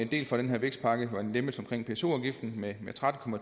del fra den her vækstpakke hvor en lempelse omkring pso afgiften med tretten